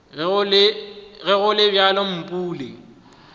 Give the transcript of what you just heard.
ge go le bjalo mpule